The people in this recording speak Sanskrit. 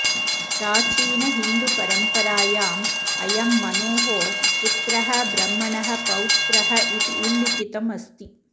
प्राचीनहिन्दुपरम्परायाम् अयं मनोः पुत्रः ब्रह्मणः पौत्रः इति उल्लिखितमस्ति